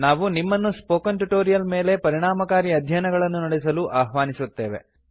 ನಾವು ನಿಮ್ಮನ್ನು spoken tutorial ಮೇಲೆ ಪರಿಣಾಮಕಾರಿ ಅಧ್ಯಯನಗಳನ್ನು ನಡೆಸಲು ಅಹ್ವಾನಿಸುತ್ತೇವೆ